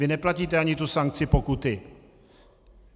Vy neplatíte ani tu sankci pokutu.